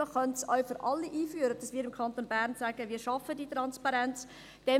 Man könnte es auch für alle einführen und im Kanton Bern sagen, dass man diese Transparenz schafft.